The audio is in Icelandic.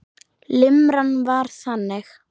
Limran var þannig